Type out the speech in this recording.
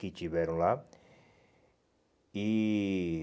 Que tiveram lá. E